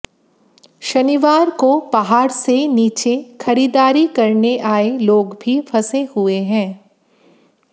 शनिवार को पहाड़ से नीचे खरीददारी करने आए लोग भी फंसे हुए हैं